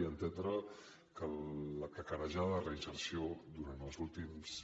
i entendre que l’esbombada reinserció durant els últims